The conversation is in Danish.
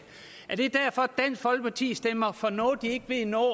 er det derfor dansk folkeparti stemmer for noget de ikke ved noget